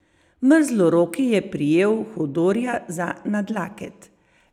Mrzloroki je prijel Hodorja za nadlaket.